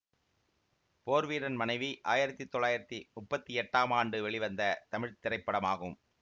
போர் வீரன் மனைவி ஆயிரத்தி தொள்ளாயிரத்தி முப்பத்தி எடடாம் ஆண்டு வெளிவந்த தமிழ் திரைப்படமாகும்